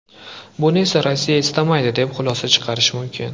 Buni esa Rossiya istamaydi, deb xulosa chiqarish mumkin.